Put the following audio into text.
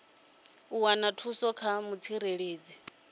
u wana thuso kha mutsireledzi